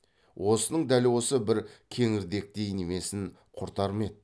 осының дәл осы бір кеңірдектей немесін құртар ме еді